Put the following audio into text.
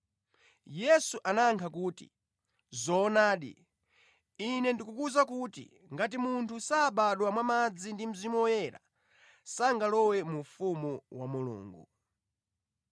Yesu anayankha kuti, “Zoonadi, Ine ndikukuwuza kuti ngati munthu sabadwa mwa madzi ndi Mzimu Woyera, sangalowe mu ufumu wa Mulungu.